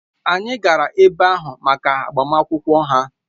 Anyị gara ebe ahụ maka agbamakwụkwọ ha